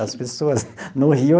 As pessoas no Rio.